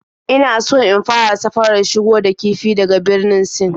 Ina so in fara safarar shigo da kifi daga Birnin Sin